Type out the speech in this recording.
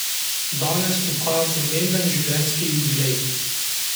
Danes obhaja pomemben življenjski jubilej.